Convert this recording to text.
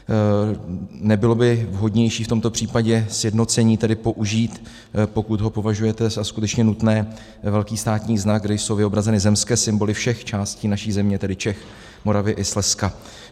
Nebylo by vhodnější v tomto případě sjednocení použít, pokud ho považujete za skutečně nutné, velký státní znak, kde jsou vyobrazeny zemské symboly všech částí naší země, tedy Čech, Moravy i Slezska?